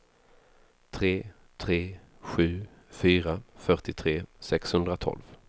tre tre sju fyra fyrtiotre sexhundratolv